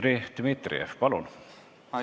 Dmitri Dmitrijev, palun!